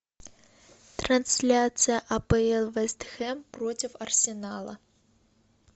трансляция апл вест хэм против арсенала